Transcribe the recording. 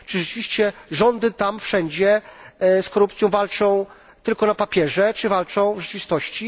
Czy rzeczywiście rządy tam wszędzie z korupcją walczą tylko na papierze, czy walczą w rzeczywistości?